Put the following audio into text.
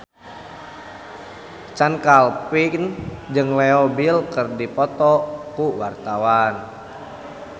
Chand Kelvin jeung Leo Bill keur dipoto ku wartawan